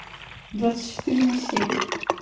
двадцать четыре на семь